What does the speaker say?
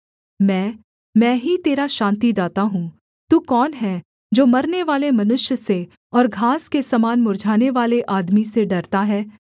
मैं मैं ही तेरा शान्तिदाता हूँ तू कौन है जो मरनेवाले मनुष्य से और घास के समान मुर्झानेवाले आदमी से डरता है